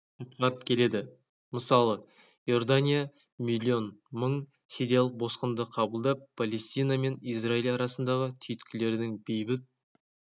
атқарып келеді мысалы иордания млн мың сириялық босқынды қабылдап палестина мен израиль арасындағы түйткілдердің бейбіт